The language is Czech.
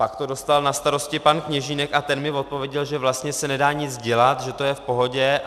Pak to dostal na starosti pan Kněžínek a ten mi odpověděl, že vlastně se nedá nic dělat, že to je v pohodě.